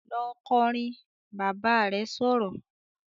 "Lọ kọrin!", Bàbá rẹ̀ sọ̀rọ̀